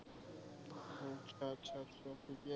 ঠিকেই, আচ্ছ আচ্ছা আচ্ছা।